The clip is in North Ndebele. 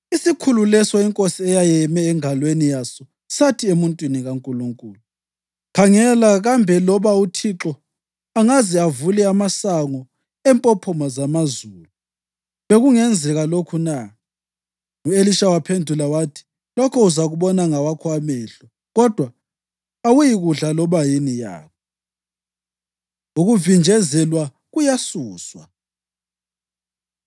Isikhulu leso inkosi eyayeyeme engalweni yaso sathi emuntwini kaNkulunkulu, “Khangela, kambe loba uThixo angaze avule amasango empophoma zamazulu bekungenzeka lokhu na?” U-Elisha waphendula wathi, “Lokho uzakubona ngawakho amehlo, kodwa awuyikudla loba yini yakho!” Ukuvinjezelwa Kuyasuswa